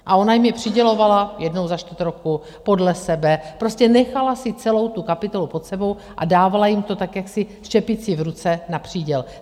A ona jim je přidělovala jednou za čtvrt roku podle sebe, prostě nechala si celou tu kapitolu pod sebou a dávala jim to tak jaksi s čepicí v ruce na příděl.